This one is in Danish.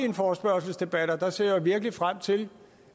en forespørgselsdebat og der ser jeg virkelig frem til